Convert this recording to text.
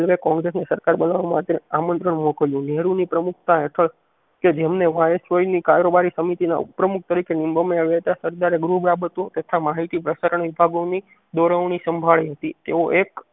કોગ્રેસ સરકાર બનવા માટે આમત્રંણ મોકલ્યું નહેરુ ને પમુખતા હેઠળ કે જેમને વાઇસરોય કારોબારી સમિતિ ના ઉપપ્રમુખ તરિકે આવ્યા તા સરદારે તથા માહિતી પ્રસારણ વિભાગોની દોરવનીસંભાળી હતી તેઓ એક ઓરંગજેબ